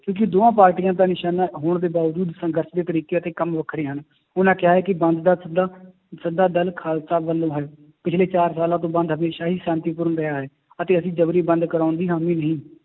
ਕਿਉਂਕਿ ਦੋਹਾਂ ਪਾਰਟੀਆਂ ਦਾ ਨਿਸ਼ਾਨਾ ਹੋਣ ਦੇ ਬਾਵਜੂਦ ਸੰਘਰਸ਼ ਦੇ ਤਰੀਕੇ ਅਤੇ ਕੰਮ ਵੱਖਰੇ ਹਨ, ਉਹਨਾਂ ਕਿਹਾ ਹੈ ਕਿ ਬੰਦ ਦਾ ਸੱਦਾ ਸੱਦਾ ਦਲ ਖਾਲਸਾ ਵੱਲੋਂ ਹੈ, ਪਿੱਛਲੇ ਚਾਰ ਸਾਲਾਂ ਤੋਂ ਬੰਦ ਹਮੇਸ਼ਾ ਹੀ ਸ਼ਾਂਤੀਪੂਰਨ ਰਿਹਾ ਹੈ, ਅਤੇ ਅਸੀਂ ਜ਼ਬਰੀ ਬੰਦ ਕਰਵਾਉਣ ਦੀ ਹਾਮੀ ਨਹੀਂ